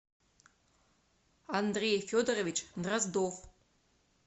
андрей федорович дроздов